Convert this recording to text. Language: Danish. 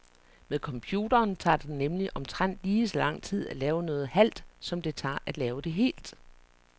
Med computeren tager det nemlig omtrent lige så lang tid at lave noget halvt, som det tager at lave det helt.